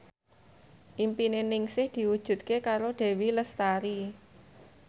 impine Ningsih diwujudke karo Dewi Lestari